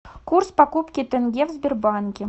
курс покупки тенге в сбербанке